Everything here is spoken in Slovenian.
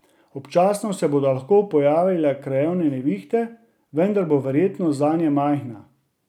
Občasno se bodo lahko pojavljale krajevne nevihte, vendar bo verjetnost zanje majhna.